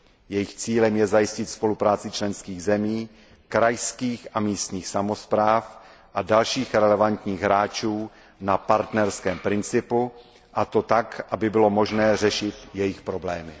Jejich cílem je zajistit spolupráci členských zemí, krajských a místních samospráv a dalších relevantních hráčů na partnerském principu a to tak, aby bylo možné řešit jejich problémy.